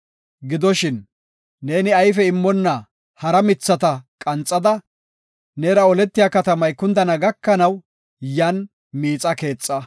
Gidoshin, ne ayfe immonna hara mithata qanxada, neera oletiya katamay kundana gakanaw yan miixa keexa.